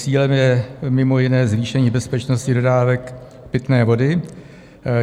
Cílem je mimo jiné zvýšení bezpečnosti dodávek pitné vody.